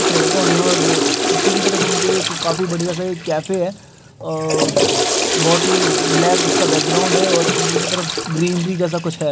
कुछ लडको है और पीछे की तरफ उनके काफी बढ़िया सा कैफे है बोहोत ही ब्लैक उसका बैकग्राउंड है और अंदर की तरफ ग्रीनरी जैसा कुछ ह। ।